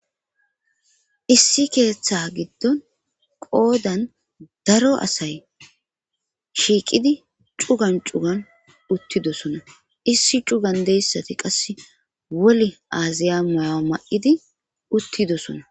Issi keeththa giddon qoodan daro asay shiiqidi cugan cugan uttidosona issi cugandeyssati qasse woli aaziya moya ma7idi uttidosona.